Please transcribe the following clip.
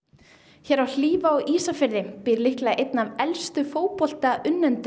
hér á Hlíf á Ísafirði býr einn af elstu